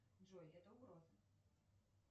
джой это угроза